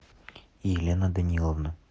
елена даниловна